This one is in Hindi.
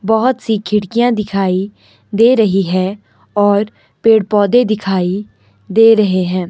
बहुत सी खिड़कियां दिखाई दे रही है और पेड़ पौधे दिखाई दे रहे हैं।